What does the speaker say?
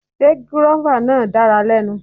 Sé gúrọ́fà náà dára lẹ́nu.